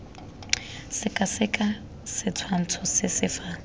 sekaseka setshwantsho se se fa